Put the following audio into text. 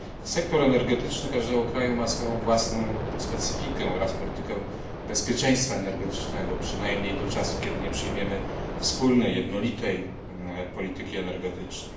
Sektor energetyczny każdego kraju ma swoją własną specyfikę oraz politykę bezpieczeństwa energetycznego, przynajmniej do czasu, kiedy nie przyjmiemy wspólnej, jednolitej polityki energetycznej.